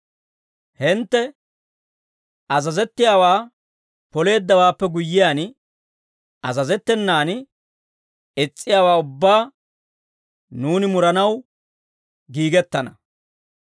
Hintte azazettiyaawaa poleeddawaappe guyyiyaan, azazettenan is's'iyaawaa ubbaa nuuni muranaw giigettana.